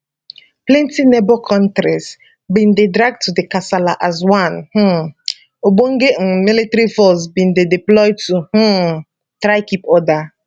plenti neighbour kontris bin dey dragged to di kasala as one um ogbonge un military force bin dey deployed to um try keep order